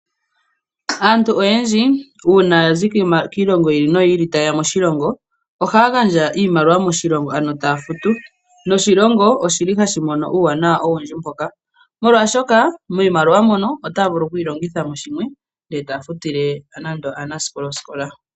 Aantu oyendji uuna ya zi kiilongo yiili noyili, taye ya moshilongo, ohaya gandja iimaliwa moshilongo ano taya futu, noshilongo oshili hashi mono uuwanawa owindji mboka, molwaashoka miimaliwa mbyoka otaya vulu oku longitha mo shimwe e taya futile nande aanasikola osikola.